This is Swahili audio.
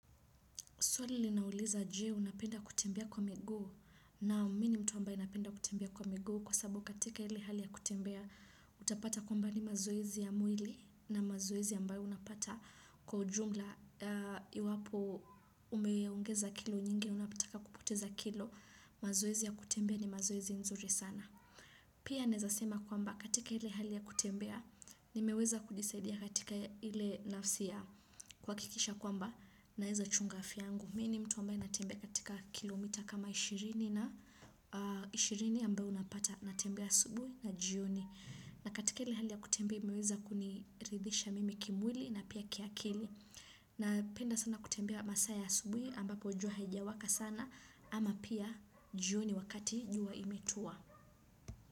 Swali linauliza je, unapenda kutembea kwa miguu? Naam mimi ni mtu napenda ambaye napenda kutembea kwa miguu kwa sababu katika ile hali ya kutembea utapata kwamba ni mazoezi ya mwili na mazoezi ambayo unapata kwa ujumla iwapo umeongeza kilo nyingi ama unataka kupoteza kilo mazoezi ya kutembea ni mazoezi nzuri sana. Pia naeza sema kwamba katika hile hali ya kutembea nimeweza kujisaidia katika hile nafsi ya kuhakikisha kwamba naeza chunga afya yangu. Mi ni mtu ambaye natembea katika kilomita kama ishirini na ishirini ambayo unapata. Natembea saubui na jioni. Na katika hile hali ya kutembea nimeweza kuniridhisha mimi kimwili na pia kiakili. Napenda sana kutembea masaa ya asubui ambapo jua haijawaka sana. Ama pia jioni wakati jua imetua.